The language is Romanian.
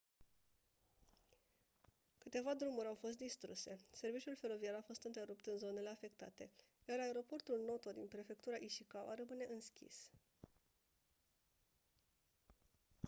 câteva drumuri au fost distruse serviciul feroviar a fost întrerupt în zonele afectate iar aeroportul noto din prefectura ishikawa rămâne închis